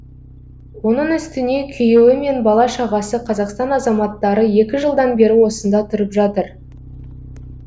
оның үстіне күйеуі мен бала шағасы қазақстан азаматтары екі жылдан бері осында тұрып жатыр